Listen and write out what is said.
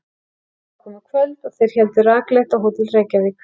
Það var komið kvöld og þeir héldu rakleitt á Hótel Reykjavík.